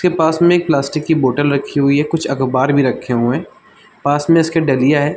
फिर पास में एक प्लास्टिक की बॉटल रखी हुई है कुछ अख़बार भी रखे हुए है पास में इसमें डलिया है।